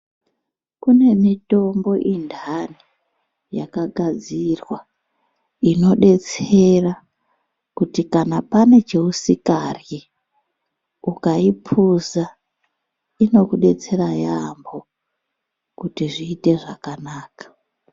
Kune mitombo indani yakagadzirwa, inodetsera kuti kana pane chausikaryi ,ukayipuza inokudetsera yambo, kuti zviyite zvakanaka.